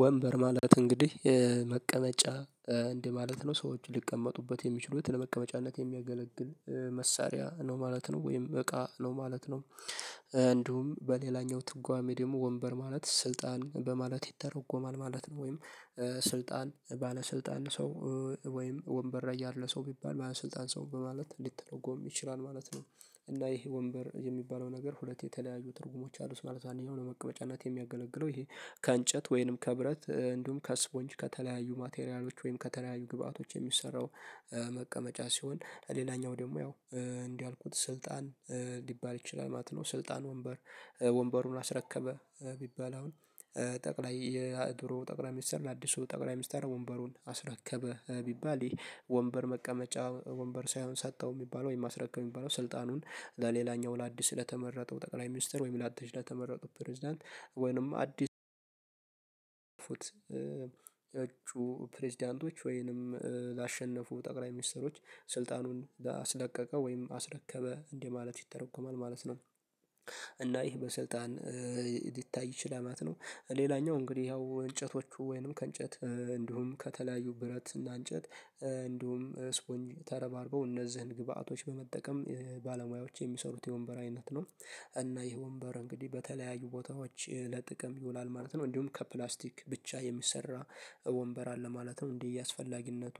ወንበር ማለት እንግዲህ መቀመጫ እንደ ማለት ነው ሰዎች ሊቀመጡበት የሚችሉት ለመቀመጫነት የሚያገለግል መሳሪያ ነው ማለት ነው ወይም እቃ ነው ማለት ነው እንዲሁም በሌላኛው ትርጓሜ ደግሞ ወንበር ማለት ስልጣን በማለት ይተረጎማል ማለት ነው ወይም ስልጣን ባለስልጣን ሰው ወይም ወንበር ላይ ያለ ሰው ቢባል ባሰልጠን ሰው በማለት ሊተረጎም ይችላል ማለት ነው። እና ይሄ ወንበር የሚባለው ነገር ሁለት የተለያዩ ትርጉሞች አሉት ማለት ነው። አንደኛው ለመቀመጫነት የሚያገለግለው ይሄ ከእንጨት ወይንም ከብረት እንዲሁም ከስፖንጅ ከተለያዩ ማቴሪያሎች ወይም ከተለያዩ ግብአቶች የሚሰራው መቀመጫ ሲሆን ሌላኛው ደግሞ ያው እንዲህ ያልኩት ስልጣን ሊባል ይችላል ማለት ነው። ስልጣን ወንበር ወንበሩን አስረከበ ቢባል አሁን ጠቅላይ የድሮ ጠቅላይ ሚስተር ለአዲሱ ጠቅላይ ሚስተር ወንበሩን አስረከበ ቢባል ይሄ ወንበር መቀመጫ ወንበር ሳይሆን ሰጠው የሚባለው ወይም ማስረከብ የሚባለው ስልጣኑን ለሌላኛው ለአዲስ ለተመረጠው ጠቅላይ ሚኒስተር ወይም ላተሽዳ ተመረጠው ፕሬዝዳንት ወይም አዲስ ፕሬዝዳንቶች ወይንም ላሸነፉ ጠቅላይ ሚኒስተሮች ስልጣኑን ላስለቀቀው ወይም አስረከበ እንዲህ ማለት ይተረኮማል ማለት ነው። እና ይህ በስልጣን ሊታይ ይችላል ማለት ነው። ሌላኛው እንግዲህ ያው እንጨቶቹ ወይንም ከእንጨት እንዲሁም ከተለያዩ ብረት እና እንጨት እንዲሁም ስፖንጅ ተረባርበው እነዚህን ግብአቶች በመጠቀም ባለሙያዎች የሚሰሩት የወንበር አይነት ነው። እና ይህ ወንበር እንግዲህ በተለያዩ ቦታዎች ለጥቅም ይውላል ማለት ነው። እንዲሁም ከፕላስቲክ ብቻ የሚሰራ ወንበር አለ ማለት ነው እንደየ አስፈላጊነቱ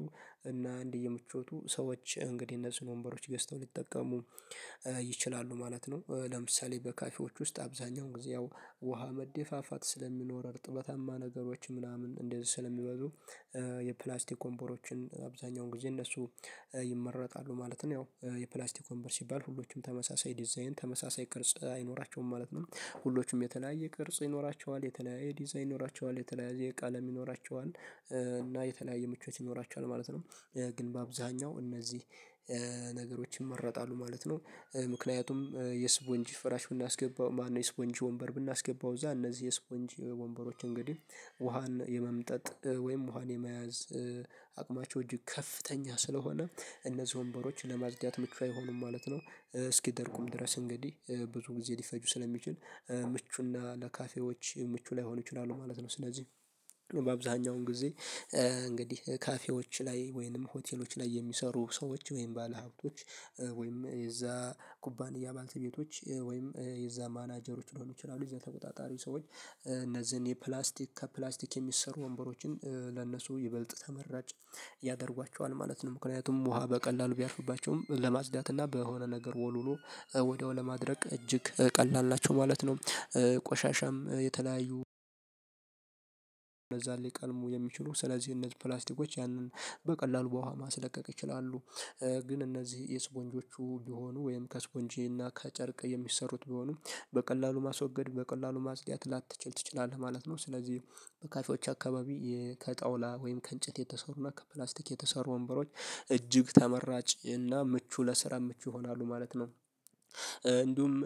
እና እንደየ ምቾቱ ሰዎች እንግዲህ እነዚህን ወንበሮች ገዝተው ሊጠቀሙ ይችላሉ ማለት ነው። ለምሳሌ በካፌዎች ውስጥ አብዛኛው ጊዜ ያው ውሃ መደፋፋት ስለሚኖር እርጥበታማ ነገሮች ምናምን እንደዚህ ስለሚበዙ የፕላስቲክ ወንበሮችን አብዛኛውን ጊዜ እነሱ ይመረጣሉ ማለት ነው። ያው የፕላስቲክ ወንበር ሲባል ሁሎችም ተመሳሳይ ዲዛይን ተመሳሳይ ቅርጽ አይኖራቸውም ማለት ነው ሁሎችም የተለያየ ቅርጽ ይኖራቸዋል የተለያየ ዲዛይን ይኖራቸዋል የተለያየ ቀለም ይኖራቸዋል እና የተለያየ ምቾት ይኖራቸዋል ማለት ነው። ግን በአብዛኛው እነዚህ ነገሮች ይመረጣሉ ማለት ነው። ምክንያቱም የስፖንጅ ፍራሽ ብናስገባው ማነው የስፖንጅ ወንበር ብናስገባው እዛ እነዚህ የስፖንጅ ወንበሮች እንግዲህ ውሃን የመምጠጥ ወይም ውሃን የመያዝ አቅማቸው እጅግ ከፍተኛ ስለሆነ እነዚህ ወንበሮች ለማድዳት ምቹ አይሆኑም ማለት ነው። እስኪደርቁም ድረስ እንግዲህ ብዙ ጊዜ ሊፈጁ ስለሚችል ምቹና ለካፌዎች ምቹ ላይሆኑ ይችላሉ ማለት ነው። ስለዚህ በአብዛኛውን ጊዜ እንግዲህ ካፌዎች ላይ ወይንም ሆቴሎች ላይ የሚሰሩ ሰዎች ወይም ባለሀብቶች ወይም የዛ ኩባንያ ባልተቤቶች ወይም የዛ ማናጀሮች ሊሆኑ ይችላሉ የዛ ተቆጣጣሪ ሰዎች እነዚህን የፕላስቲክ ከፕላስቲክ የሚሰሩ ወንበሮችን ለነሱ ይበልጥ ተመራጭ ያደርጓቸዋል ማለት ነው። ምክንያቱም ውሃ በቀላሉ ቢያርፉባቸውም ለማጽዳት እና በሆነ ነገር ወልውሎ ወዲያው ለማድረቅ እጅግ ቀላል ናቸው ማለት ነው። ቆሻሻም የተለያዩ ሊቀርቡ የሚችሉ ስለዚህ እነዚህ ፕላስቲኮች ያንን በቀላሉ በውሃ ማስለቀቅ ይችላሉ። ግን እነዚህ የስፖንጆቹ ቢሆኑ ወይም ከስፖንጂ እና ከጨርቅ የሚሰሩት ቢሆኑም በቀላሉ ማስወገድ በቀላሉ ማስድያት ላተችል ትችላለህ ማለት ነው። ስለዚህ በካፌዎች አካባቢ ከጠውላ ወይም ከእንጭት የተሰሩና ከፕላስቲክ የተሰሩ ወንበሮች እጅግ ተመራጭ እና ምቹ ለስራ ምቹ ይሆናሉ ማለት ነው።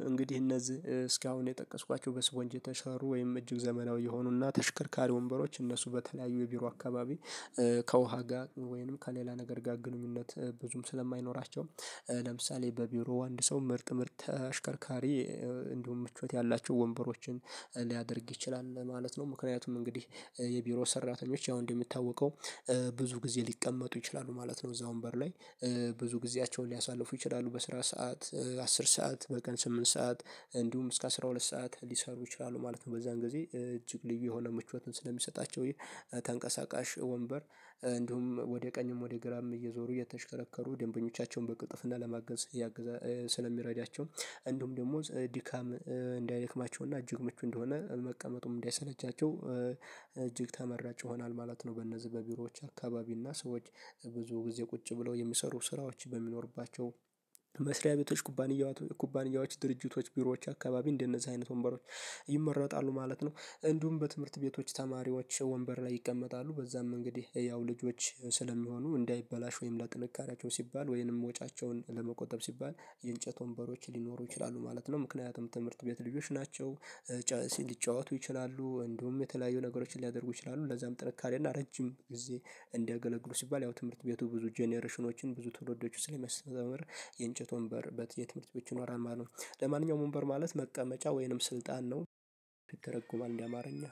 እንግዲህ እነዚህ እስካሁን የጠቀስኳቸው በስፖንጅ የተሻሩ ወይም እጅግ ዘመናዊ የሆኑና ተሽክርካሪ ወንበሮች እነሱ በተለያዩ የቢሮ አካባቢ ከውሃ ጋር ወይንም ከሌላ ነገር ጋር ግንኙነት ብዙም ስለማይኖራቸው ለምሳሌ በቢሮው አንድ ሰው ምርጥ ምርጥ አሽከርካሪ እንዲሁም ምቾት ያላቸው ወንበሮችን ሊያደርግ ይችላል ማለት ነው። ምክንያቱም እንግዲህ የቢሮ ሰራተኞች ያው እንደሚታወቀው ብዙ ጊዜ ሊቀመጡ ይችላሉ ማለት ነው። እዛ ወንበር ላይ ብዙ ጊዜያቸውን ሊያሳልፉ ይችላሉ በስራ ሰዓት አስር ሰዓት በቀን ስምንት ሰዓት እንዲሁም እስከ አስራ ሁለት ሰዓት ሊሰሩ ይችላሉ ማለት ነው። በዛን ጊዜ እጅግ ልዩ የሆነ ምቾትን ስለሚሰጣቸው ይሄ ተንቀሳቃሽ ወንበር እንዲሁም ወደ ቀኝም ወደ ግራም እየዞሩ እየተሽከረከሩ ደንበኞቻቸውን በቅልጥፍና ለማገዝ እያገዛ ስለሚረዳቸው እንደውም ደግሞ ዲካም እንዳይደክማቸውና እጅግ ምቹ እንደሆነ መቀመጡም እንዳይሰለቻቸው እጅግ ተመራጭ ይሆናል ማለት ነው። በነዚህ በቢሮዎች አካባቢ እና ሰዎች ብዙ ጊዜ ቁጭ ብለው የሚሰሩ ስራዎች በሚኖሩባቸው መስሪያ ቤቶች ኩባንያዎች ኩባንያዎች ድርጅቶች ቢሮዎች አካባቢ እንደነዚህ አይነት ወንበሮች ይመረጣሉ ማለት ነው። እንዲሁም በትምህርት ቤቶች ተማሪዎች ወንበር ላይ ይቀመጣሉ በዛም እንግዲህ ያው ልጆች ስለሚሆኑ እንዳይበላሽ ወይም ለጥንካሬያቸው ሲባል ወይንም ወጫቸውን ለመቆጠብ ሲባል የእንጨት ወንበሮች ሊኖሩ ይችላሉ ማለት ነው። ምክንያቱም ትምህርት ቤት ልጆች ናቸው። ሊጫወቱ ይችላሉ እንዲሁም የተለያዩ ነገሮችን ሊያደርጉ ይችላሉ ለዛም ጥንካሬና ረጅም ጊዜ እንደገለግሉ ሲባል ያው ትምህርት ቤቱ ብዙ ጀነሬሽኖችን ብዙ ትውልዶች ስለሚያስተዛምር የእንጨት ወንበር በትን ትምህርት ብቶች ይኖራል። ማለት ነው። ለማንኛውም ወንበር ማለት መቀመጫ ወይንም ስልጣን ነው። ይተረጎማል እንዲህ አማርኛ